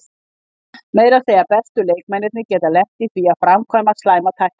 Meira að segja bestu leikmennirnir geta lent í því að framkvæma slæma tæklingu.